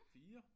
4